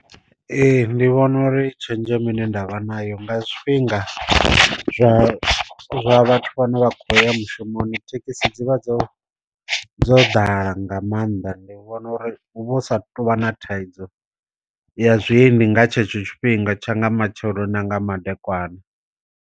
Ee ndi vhona uri tshenzhemo ine ndavha nayo nga zwifhinga zwa zwa vhathu vhane vha khou ya mushumoni thekhisi dzivha dzo dzo ḓala nga maanḓa ndi vhona uri hu vha hu sa tou vha na thaidzo ya zwiendi nga tshetsho tshifhinga tsha nga matsheloni na nga madekwana.